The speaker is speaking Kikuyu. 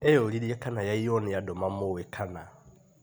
Eyũririe kana yaiywo nĩ andũ mamũĩ kana?